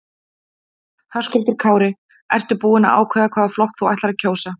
Höskuldur Kári: Ertu búin að ákveða hvaða flokk þú ætlar að kjósa?